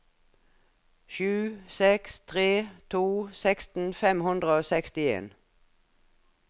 sju seks tre to seksten fem hundre og sekstien